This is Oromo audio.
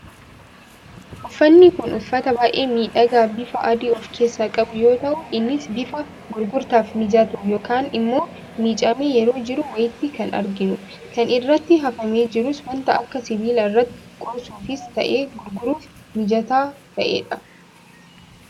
Uffanni kun, uffata baayyee miidhagaa, bif adii of keessaa qabu yoo ta'u, innis bifa gurgurtaaf mijatu yookaan immoo miiccamee yeroo jiru wayiiti kan arginu. Kan irratti hafame jirus waanta akka sibiilaa irratti qoorsuufis ta'ee gurguruuf mijataa ta'edha.